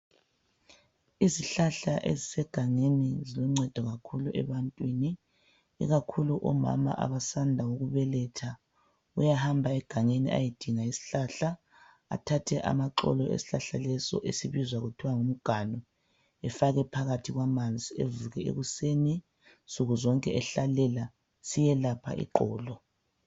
Izihlahla ezisegangeni zilungcedo kakhulu ebantwini ikakhulu omama abasanda ukubeletha uyahamba egangeni ayedinga isihlahla athathe amaxolo awesihlahla leso esibuzwa kuthwa ngumganu zifake phakathi kwamanzi evuke ekuseni nsukuzonke ehlalela siyelapha iqolo